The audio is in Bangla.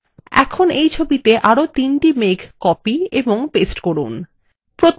এখন এই ছবিতে আরো তিনটি মেঘ copy এবং paste করুন